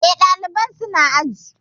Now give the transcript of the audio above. Eh, ɗalibai su na aji